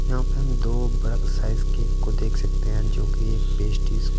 यहाँ पे हम दो बड़ा साइज केक को देख सकते हैं जोकि एक पेस्टीज--